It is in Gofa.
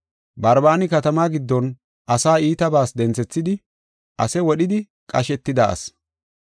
Barbaani katamaa giddon asaa iitabas denthethidi ase wodhidi qashetida asi.